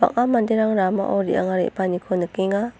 bang·a manderang ramao re·anga re·baaniko nikenga.